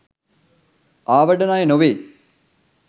ආවඩන අය නොවෙයි.